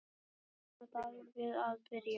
Býst Jón Daði við að byrja?